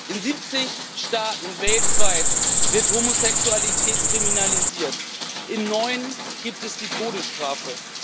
In 70 Staaten weltweit wird Homosexualität kriminalisiert, in neun gibt es die Todesstrafe.